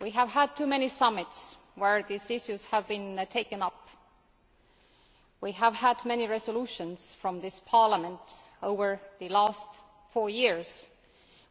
We have had too many summits where these issues have been taken up. We have had many resolutions from this Parliament over the last four years